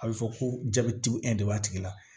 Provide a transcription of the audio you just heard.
A bɛ fɔ ko jabeti de b'a tigi la